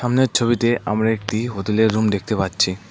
ছবিতে আমরা একটি হোতেলের রুম দেখতে পাচ্ছি।